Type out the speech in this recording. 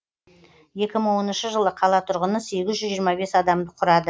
екі мың оныншы жылы қала тұрғыны сегіз жүз жиырма бес адамды құрады